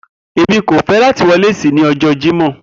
Emi ko fẹ lati wọ lace ni ọjọ Jimọ